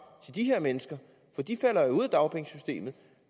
til de her mennesker for de falder ud af dagpengesystemet